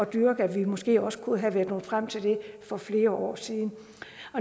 dyrke at vi måske også kunne være nået frem til det for flere år siden